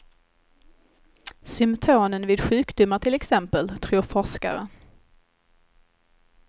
Symptomen vid sjukdomar till exempel, tror forskare.